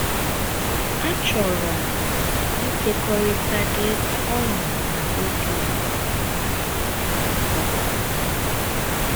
“Achọrọ m ịkekọrịta gị ọṅụ na obi ụtọ m.